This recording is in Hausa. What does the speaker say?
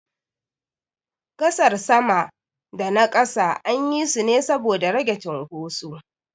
Gasar sama da na ƙasa anyi su ne saboda rage cunkoso.